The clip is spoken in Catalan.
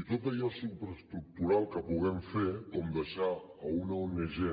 i tot allò superestructural que puguem fer com deixar una ong de